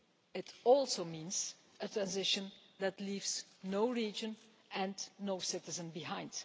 It also means a transition that leaves no region and no citizen behind.